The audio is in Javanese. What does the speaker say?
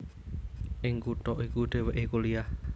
Ing kutha iku dhèwèké kuliah